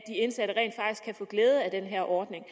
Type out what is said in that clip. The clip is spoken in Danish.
indsatte kan få glæde af den her ordning